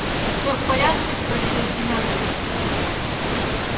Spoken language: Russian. все в порядке спросил геннадий